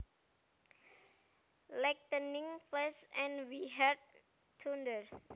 Lightening flashed and we heard thunder